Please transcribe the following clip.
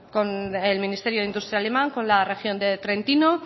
con el ministerio de industria alemán con la región de trentino